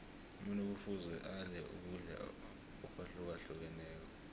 umuntu kufuze adle ukudla akwahlukahlukeneko